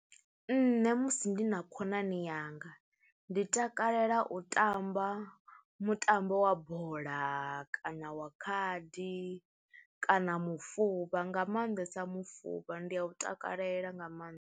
Nṋe musi ndi na khonani yanga, ndi takalela u tamba mutambo wa bola kana wa khadi kana mufuvha nga maanḓesa mufuvha ndi a u takalela nga maanḓa.